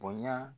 Bonya